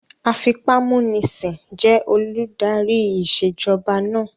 Afipámúnisìn jẹ́ olùdarí ìṣèjọba náà